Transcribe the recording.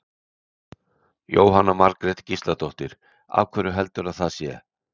Jóhanna Margrét Gísladóttir: Af hverju heldurðu að það sé?